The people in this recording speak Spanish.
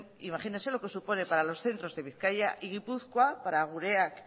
imagínese lo que supone para los centros de bizkaia y gipuzkoa para gureak